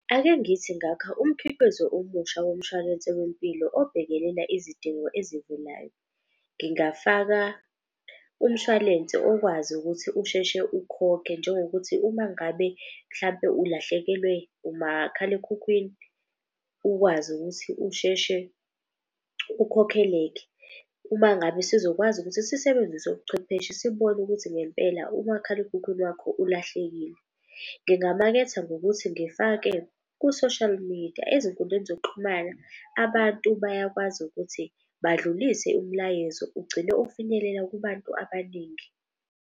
Ake ngithi ngakha umkhiqizo omusha womshwalense wempilo obhekelela isidingo ezivelayo, ngingafaka umshwalense okwazi ukuthi usheshe ukhokhe njengo kuthi uma ngabe mhlampe. Ulahlekelwe umakhalekhukhwini ukwazi ukuthi usheshe ukhokheleke. Uma ngabe sizokwazi ukuthi sisebenzise ubuchwepheshe sibone ukuthi ngempela umakhalekhukhwini wakho ulahlekile. Ngingamaketha ngokuthi ngifake ku-social media, ezinkundleni zokuxhumana abantu bayakwazi ukuthi badlulise umlayezo ugcine ofinyelela kubantu abaningi.